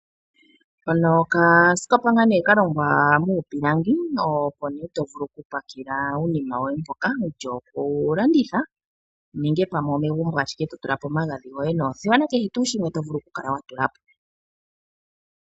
Hono oka skopa ngaa nee kalongawa muupilangi , opotovulu oku pakela uunima woye mpoka wutya okulanditha nenge pamwe omegumbo ashike totulapo omaghadhi gwoye noothewa nakehe tuu shimwe tovulu okukala watulapo.